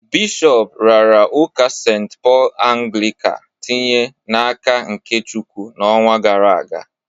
Bishọp raara ụka St. Paul Anglịka tinye n'aka nke Chukwu n'ọnwa gara aga